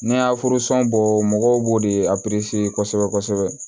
N'i y'a bɔ mɔgɔw b'o de kosɛbɛ kosɛbɛ